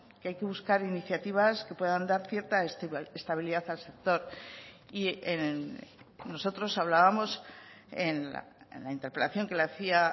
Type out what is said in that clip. que hay que buscar iniciativas que puedan dar cierta estabilidad al sector y nosotros hablábamos en la interpelación que le hacía